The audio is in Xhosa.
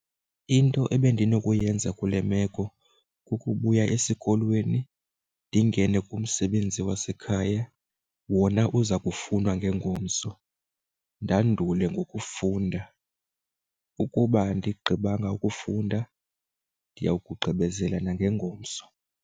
Into ebendinokuyenza kule meko ke kukubuya esikolweni ndingene kumsebenzi wasekhaya wona uza kufunwa ngengomso ndandule ngokufunda. Ukuba andibanga ukufunda ndiya kugqibezela nangengomso.